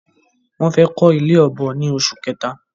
Wọ́n fẹ́ kọ́ ilé ọ̀bọ ni oṣù kẹta